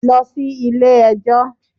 Lọ sí ilé ẹjọ́.